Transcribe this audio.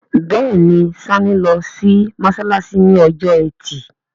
Béèni Sanni ló sì masalasi ní Ọjọ́ Ẹti.